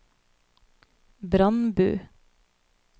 Brandbu